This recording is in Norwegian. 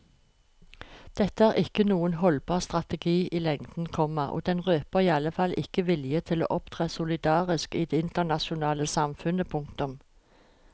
Dette er ikke noen holdbar strategi i lengden, komma og den røper iallfall ikke vilje til å opptre solidarisk i det internasjonale samfunnet. punktum